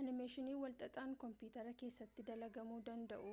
animeeshinii walxaxaan koompiyuutara keessatti dalagamuu danda'u